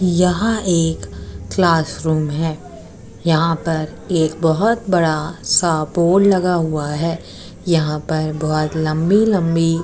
यहाँ एक क्लासरूम है यहाँ पर एक बहुत बड़ा सा बोर्ड लगा हुआ है यहाँ पर बहुत लंबी-लंबी --